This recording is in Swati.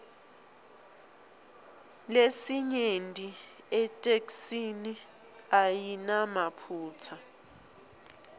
lesinyenti itheksthi ayinamaphutsa